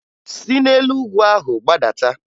Si n'elu ugwu ahụ gbadata!